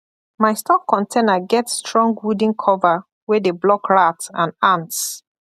my store container get strong wooden cover wey dey block rat and ants